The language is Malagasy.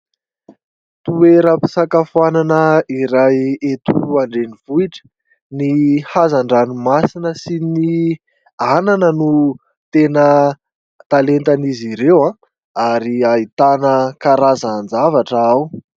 Toeram-pisakafoanana iray eto andrenivohitra. Ny hazandranomasina sy ny anana no tena talentan'izy ireo ary ahitana karazan-javatra ao.